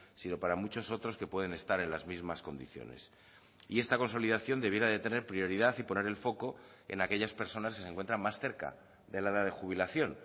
sino para muchos otros que pueden estar en las mismas condiciones y esta consolidación debiera de tener prioridad y poner el foco en aquellas personas que se encuentran más cerca de la edad de jubilación